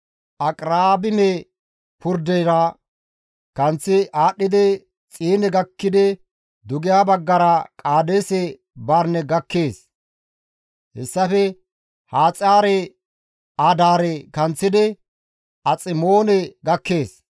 Aqraabime purdera kanththi aadhdhidi Xiine gakkidi dugeha baggara Qaadeese Barine gakkees; hessafe Haxaare-Adaare kanththidi Aximoone gakkees.